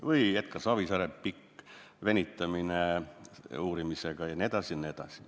Või Edgar Savisaare puhul pikk venitamine uurimisega jne, jne.